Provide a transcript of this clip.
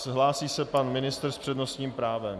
Hlásí se pan ministr s přednostním právem.